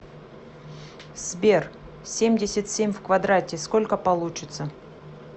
сбер семьдесят семь в квадрате сколько получится